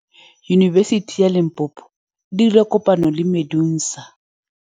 Yunibesiti ya Limpopo e dirile kopanyô le MEDUNSA.